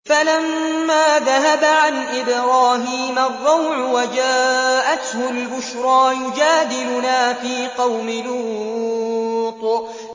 فَلَمَّا ذَهَبَ عَنْ إِبْرَاهِيمَ الرَّوْعُ وَجَاءَتْهُ الْبُشْرَىٰ يُجَادِلُنَا فِي قَوْمِ لُوطٍ